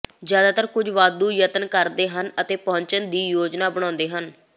ਜ਼ਿਆਦਾਤਰ ਕੁਝ ਵਾਧੂ ਯਤਨ ਕਰਦੇ ਹਨ ਅਤੇ ਪਹੁੰਚਣ ਦੀ ਯੋਜਨਾ ਬਣਾਉਂਦੇ ਹਨ